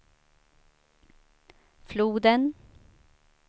floden